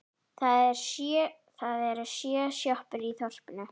Það eru sjö sjoppur í þorpinu!